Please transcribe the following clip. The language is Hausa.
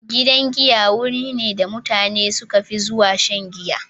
Gidan giya wuri ne da mutane suka fi zuwa shan giya.